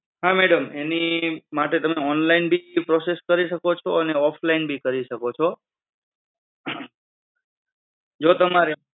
હા madam, એની માટે તમે online ભી process કરી શકો છો અને offline બી કરી શકો છો. જો તમારે